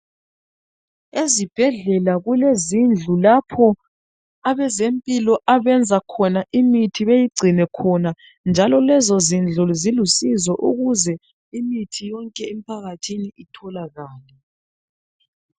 Ezibhedlela kulezindlu lapho abezempilo abenza khona imithi beyigcine khona, njalo lezo zindlu zilusizo ukuze imithi yonke emphakathini itholakale.